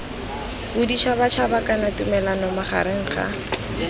boditšhabatšhaba kana tumalano magareng ga